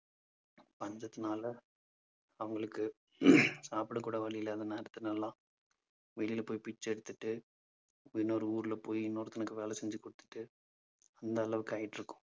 பஞ்சத்தினால அவங்களுக்கு சாப்பிடக் கூட வழி இல்லாத வெளியில போய் பிச்சை எடுத்துட்டு இன்னொரு ஊர்ல போய் இன்னொருத்தனுக்கு வேலை செஞ்சு குடுத்துட்டு அந்த அளவுக்கு ஆயிட்டிருக்கோம்.